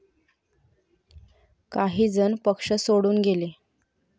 काही जण पक्ष सोडून गेले.